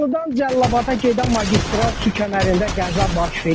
Masallıdan Cəlilabada gedən magistral su kəmərində qəza baş verib.